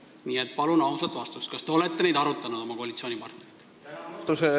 Nii et palun ausat vastust, kas te olete neid kohti oma koalitsioonipartneritega arutanud!